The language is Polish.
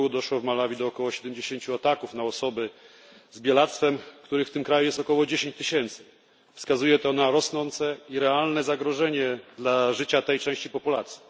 r. doszło w Malawi do około 70 ataków na osoby z bielactwem, których w tym kraju jest około 10 tysięcy. Wskazuje to na rosnące i realne zagrożenie życia tej części populacji.